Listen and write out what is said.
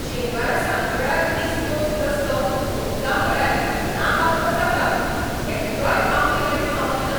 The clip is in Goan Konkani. शेनवारा सांजवेळार ईस्ट कोस्ट रस्तो हुंपता म्हळ्यार नाका पुरो जाता, एकटोय आपली गाडी थांबयना.